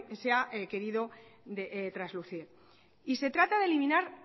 se ha querido traslucir y se trata de eliminar